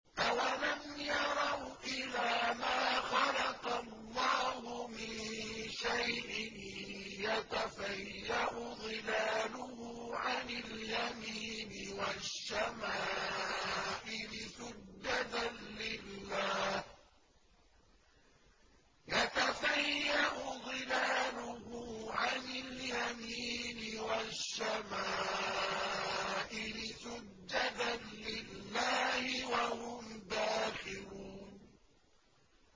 أَوَلَمْ يَرَوْا إِلَىٰ مَا خَلَقَ اللَّهُ مِن شَيْءٍ يَتَفَيَّأُ ظِلَالُهُ عَنِ الْيَمِينِ وَالشَّمَائِلِ سُجَّدًا لِّلَّهِ وَهُمْ دَاخِرُونَ